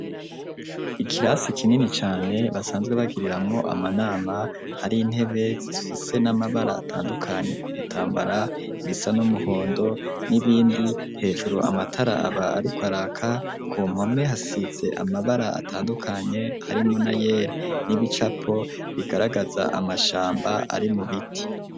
Ikirasi kinini cane basanzwe bagiriramwo amanama hari intebe zifise n'amabara atandukanye ku bitambara bisa n'umuhondo n'ibindi hejuru amatara aba ariko araka ku mpome hasize amabara atandukanye harimwo n'ayera n'ibicapo bigaragaza amashamba ari mu biti.